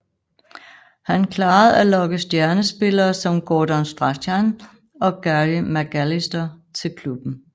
Han klarede at lokke stjernespillere som Gordon Strachan og Gary McAllister til klubben